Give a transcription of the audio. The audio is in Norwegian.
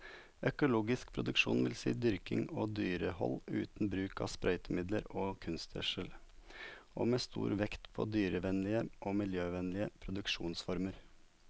Økologisk produksjon vil si dyrking og dyrehold uten bruk av sprøytemidler og kunstgjødsel, og med stor vekt på dyrevennlige og miljøvennlige produksjonsformer.